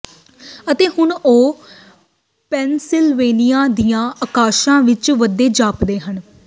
ਅਤੇ ਹੁਣ ਉਹ ਪੈਨਸਿਲਵੇਨੀਆ ਦੀਆਂ ਆਕਾਸ਼ਾਂ ਵਿਚ ਵਧਦੇ ਜਾਪਦੇ ਹਨ